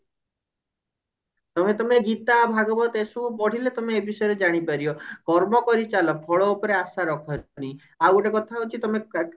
ତମେ ତମେ ଗୀତା ଭାଗବତ ଏସବୁ ପଢିଲେ ତମେ ଏ ବିଷୟରେ ଜାଣିପାରିବ କର୍ମ କରିଚାଳ ଫଳ ଉପରେ ଆଶା ରଖନି ଆଉ ଗୋଟେ କଥା ହଉଛି ତମେ କା